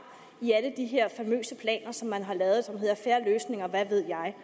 i alle de her famøse planer som man har lavet og som hedder fair løsning og hvad ved jeg